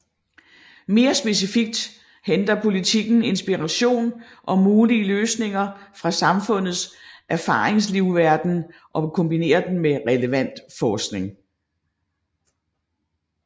Mere specifikt henter politikken inspiration og mulige løsninger fra samfundets erfaringslivsverden og kombinerer den med relevant forskning